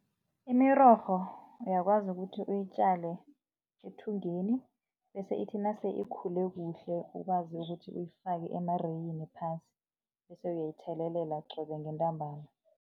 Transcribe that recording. Imirorho uyakwazi ukuthi uyitjale ethungeni bese ithi nase ikhule kuhle ukwazi ukuthi uyifake emareyini phasi bese uyayithelelela qobe ngentambama.